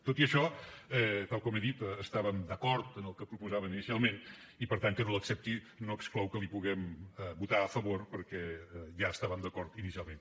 tot i això tal com he dit estàvem d’acord en el que proposaven inicialment i per tant que no l’accepti no exclou que hi puguem votar a favor perquè ja hi estàvem d’acord inicialment